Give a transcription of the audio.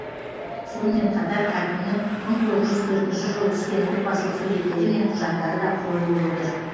сонымен қатар хакімнің мың тоғыз жүз төртінші жылы түскен отбасылық суреттері мен құжаттары да қойылып отыр